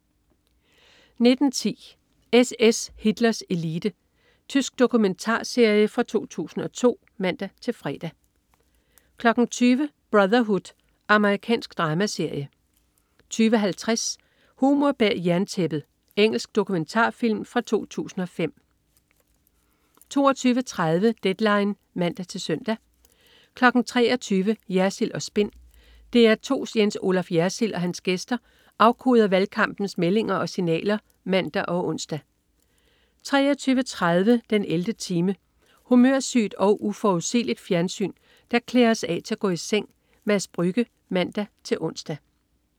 19.10 SS. Hitlers elite. Tysk dokumentarserie fra 2002 (man-fre) 20.00 Brotherhood. Amerikansk dramaserie 20.50 Humor bag jerntæppet. Engelsk dokumentarfilm fra 2005 22.30 Deadline (man-søn) 23.00 Jersild & Spin. DR2's Jens Olaf Jersild og hans gæster afkoder valgkampens meldinger og signaler (man og ons) 23.30 den 11. time. Humørsygt og uforudsigeligt fjernsyn, der klæder os af til at gå i seng. Mads Brügge (man-ons)